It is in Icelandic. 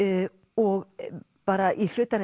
og bara í hlutarins